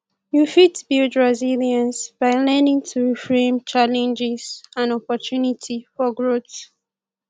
you fit build resilience by learning to reframe challenges and opportunity for growth